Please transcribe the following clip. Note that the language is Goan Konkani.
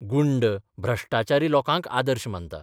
गुंड, भ्रश्टाचारी लोकांक 'आदर्श 'मानता.